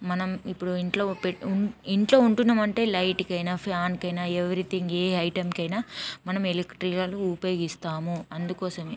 మనము ఇపుడు ఇంట్లో పే ఇంట్లో ఉంటున్నాం అంటే లైట్ కిన ఫ్యాన్ కి న ఎవరీ థింగ్ ఆ ఐటెం కి ఐన మనం ఎలక్ట్రికల్ ఉపయోగిస్తాము అందుకోసమే--